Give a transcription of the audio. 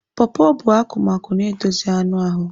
Pọpọ bụ akụmakụ na-edozi anụ ahụ.